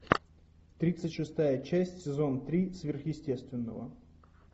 тридцать шестая часть сезон три сверхъестественного